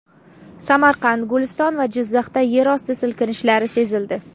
Samarqand, Guliston va Jizzaxda yer osti silkinishlari sezildi.